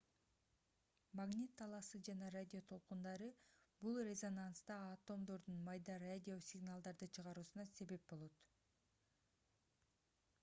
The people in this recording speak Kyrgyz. магнит талаасы жана радио толкундары бул резонанста атомдордун майда радио сигналдарды чыгаруусуна себеп болот